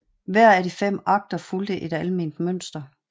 Hver af de fem akter fulgte et alment mønster